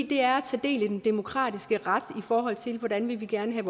det er at tage del i den demokratiske ret i forhold til hvordan vi gerne vil